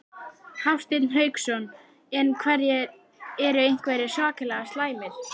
Hafsteinn Hauksson: En eru einhverjir svakalega slæmir?